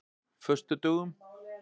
föstudögum